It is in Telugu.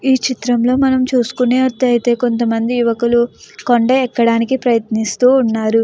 ఈ చిత్రంలో మనం చూసుకునే అట్లయితే కొంతమంది యువకులు కొంటే ఎక్కడానికి ప్రయత్నిస్తూ ఉన్నారు ఎక్కడానికి ప్రయత్నిస్తూ ఉన్నారు --